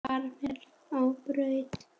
Far vel á braut.